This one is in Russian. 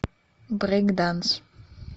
брейк данс